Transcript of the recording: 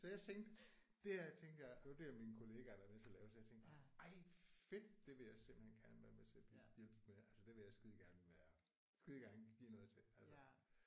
Så jeg tænkte det her tænkte jeg det er mine kollegaer der er med til at lave så jeg tænkte ej fedt! Det vil jeg simpelthen gerne være med til at hjælpe med. Altså det vil jeg skidegerne være skidegerne give noget til altså